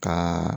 Ka